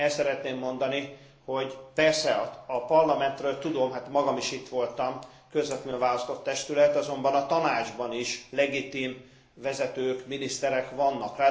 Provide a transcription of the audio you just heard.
El szeretném mondani, hogy persze a Parlamentről tudom hát magam is itt voltam közvetlenül választott testület, azonban a Tanácsban is legitim vezetők, miniszterek vannak.